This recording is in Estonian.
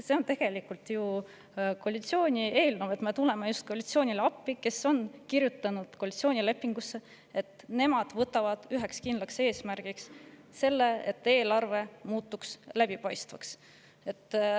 See on ju tegelikult koalitsiooni eelnõu, me tuleme koalitsioonile appi, sest koalitsioonilepingusse on kirjutatud, et nad võtavad üheks kindlaks eesmärgiks selle, et eelarve muutuks läbipaistvaks.